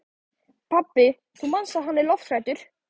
Pabbi, þú manst að hann er lofthræddur.